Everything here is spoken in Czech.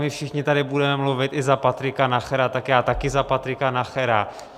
My všichni tady budeme mluvit i za Patrika Nachera, tak já taky za Patrika Nachera.